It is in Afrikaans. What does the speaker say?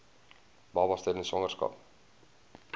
babas tydens swangerskap